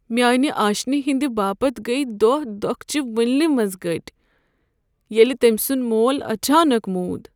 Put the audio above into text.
میٛانہ آشنہِ ہٕنٛد باپت گٔیہ دوہ دوكھہٕ چہِ وُنلہِ منز گٔٹۍ ییٚلہِ تمۍ سُنٛد مول اچانک موٗد۔